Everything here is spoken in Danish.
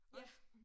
Ja!